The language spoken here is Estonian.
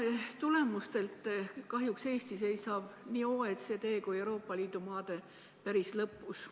Oma tervishoiutulemustelt seisab Eesti kahjuks nii OECD riikide kui ka Euroopa Liidu maade hulgas päris lõpus.